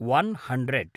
one hundred